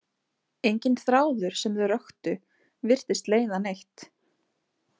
Enginn þráður sem þau röktu virtist leiða neitt.